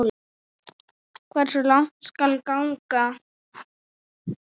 Hversu langt skal ganga?